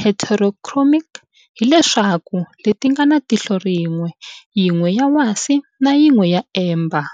heterochromic, hi leswaku, letingana tihlo rin'we, yin'we ya wasi na yin'we ya amber.